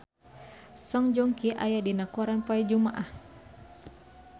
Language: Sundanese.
Song Joong Ki aya dina koran poe Jumaah